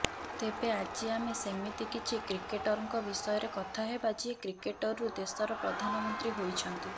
ତେବେ ଆଜି ଆମେ ସେମିତି କିଛି କ୍ରିକେଟରଙ୍କ ବିଷୟରେ କଥା ହେବା ଯିଏ କ୍ରିକେଟରରୁ ଦେଶର ପ୍ରଧାନମନ୍ତ୍ରୀ ହୋଇଛନ୍ତି